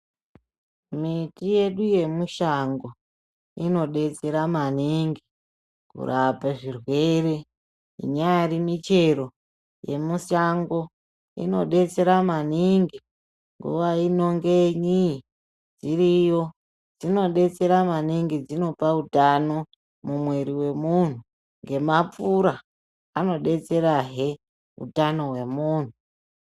Miti yedu yemushango inodetsera maningi kurapa zvirwere. Inyari michero yemushango inodetsera maningi nguva inonge nyii dziriyo dzinodetsera maningi dzinope utano mumwiri wemunhu, ngemapfura anodetserahe utano hwemuntu.